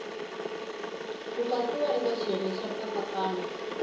katsiwa eka xiyenge xa nkatsakanyo